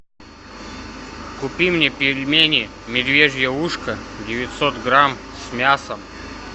купи мне пельмени медвежье ушко девятьсот грамм с мясом